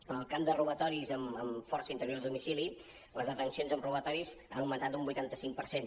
en el camp de robatoris amb força a l’interior de domicili les detencions en ro·batoris han augmentat un vuitanta cinc per cent